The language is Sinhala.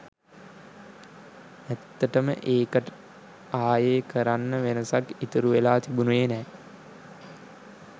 ඇත්තටම ඒකට ආයෙ කරන්න වෙනසක් ඉතුරු වෙලා තිබුණෙ නෑ.